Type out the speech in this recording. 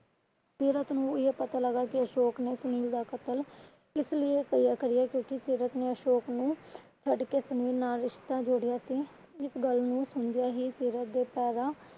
ਸੀਰਤ ਨੂੰ ਇਹ ਪਤਾ ਲੱਗਾ ਕਿ ਅਸ਼ੋਕ ਨੇ ਸੁਨੀਲ ਦਾ ਕ਼ਤਲ ਇਸ ਲਈ ਕਰਿਆ ਕਿਉਂਕਿ ਸੀਰਤ ਨੇ ਅਸ਼ੋਕ ਨੂੰ ਛੱਡ ਕੇ ਸੁਨੀਲ ਨਾਲ ਰਿਸ਼ਤਾ ਜੋੜਿਆ ਸੀ। ਇਸ ਗੱਲ ਨੂੰ ਸੁਣਦਿਆਂ ਹੀ ਸੀਰਤ ਦੇ ਪੈਰਾਂ